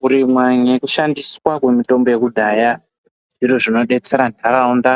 Kurimwa nemushandiswa kwemitombo yekudhaya, zviro zvinobetsera nharaunda